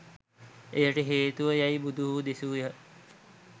එයට හේතුව යැයි බුදුහු දෙසූහ.